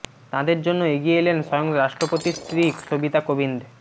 তাঁদের জন্য এগিয়ে এলেন স্বয়ং রাষ্ট্রপতির স্ত্রী সবিতা কোবিন্দ